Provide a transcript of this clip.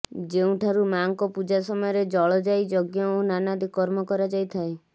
ଯେଉଁ ଠାରୁ ମାଙ୍କ ପୂଜା ସମୟରେ ଜଳ ଯାଇ ଯଜ୍ଞ ଓ ନାନାଦି କର୍ମ କରାଯାଇଥାଏ